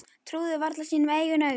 Trúði varla sínum eigin augum.